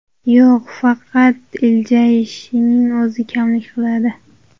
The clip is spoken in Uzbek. Yo‘q, faqat iljayishning o‘zi kamlik qiladi.